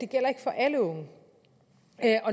gælder for alle unge